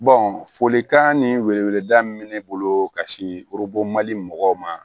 folikan ni weleweleda min bɛ ne bolo ka se mali mɔgɔw ma